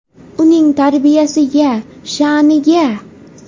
Uning tarbiyasiga, sha’niga.